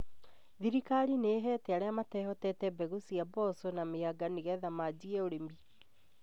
Thirikari nĩ ĩhete arĩa matehotete mbegũ cia mbosho na mĩanga nigetha majie ũrĩmi